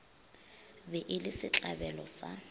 be e le setlabelo sa